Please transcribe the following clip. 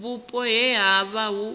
vhupo he ha vha hu